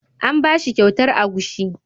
An bashi kyautar agushi.